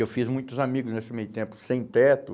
Eu fiz muitos amigos nesse meio tempo, sem teto.